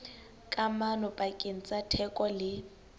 kamano pakeng tsa theko le